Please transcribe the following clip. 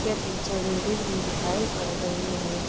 के पीछे बिल्डिंग भी दिखायी पड़ रही है।